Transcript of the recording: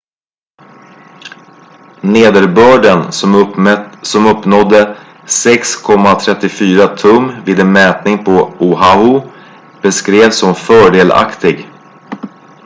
"nederbörden som uppnådde 6,34 tum vid en mätning på oahu beskrevs som "fördelaktig"".